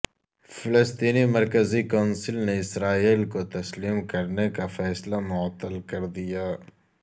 فلسطینی مرکزی کونسل نے اسرائیل کو تسلیم کرنے کا فیصلہ معطل کر دیا